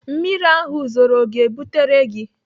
Mmiri ahụ zoro ọ ga-ebutere gị?